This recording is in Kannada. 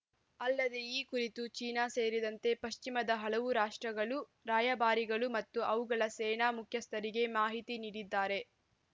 ಅಲ್ಲದೆ ಈ ಕುರಿತು ಚೀನಾ ಸೇರಿದಂತೆ ಪಶ್ಚಿಮದ ಹಲವು ರಾಷ್ಟ್ರಗಳ ರಾಯಭಾರಿಗಳು ಮತ್ತು ಅವುಗಳ ಸೇನಾ ಮುಖ್ಯಸ್ಥರಿಗೆ ಮಾಹಿತಿ ನೀಡಿದ್ದಾರೆ